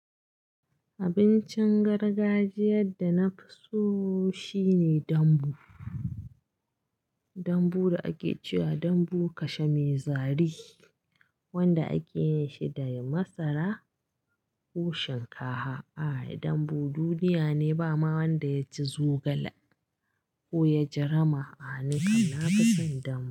Abincin gargajiyar da na fi so shine dambu. Dambu da ake cewa dambu kashe mai zari wanda ake yin shi da masara ko shinkafa. A'a, dambu duniya ne, ba ma wanda ya ji zogale ko ya ji rama'a. Ni kam na fi son dambu.